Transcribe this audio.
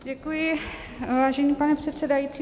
Děkuji, vážený pane předsedající.